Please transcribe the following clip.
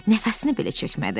Nəfəsini belə çəkmədi.